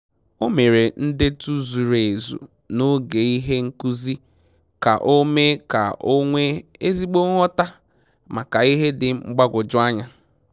O mere ndetu zuru ezu na oge ihe nkuzi ka o mee ka o nwee ezigbo nghọta maka ihe dị mgbagwoju anya